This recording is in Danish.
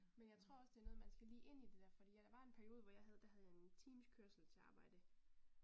Men jeg tror også det noget man skal lige ind i det der fordi at der var en periode, hvor jeg havde, der havde jeg en times kørsel til arbejde